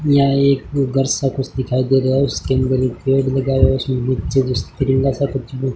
इहा एक घर सा कुछ दिखाई दे रहा है उसके अंदर पेड़ लगा हुआ है तिरंगा सा कुछ--